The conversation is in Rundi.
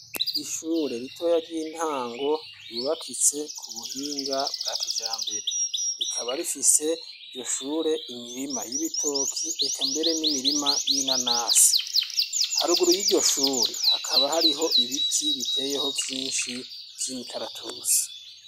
Ishure ritoya ry'intango ryubakitse ku buhinga bwa kija mbere rikaba rifise iryo shure imirima y'ibitoki eka mbere n'imirima y'ina nasi haruguru y'iryo shure hakaba hariho ibiti biteyeho vyinshi vy'imikaratusi.